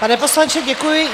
Pane poslanče, děkuji.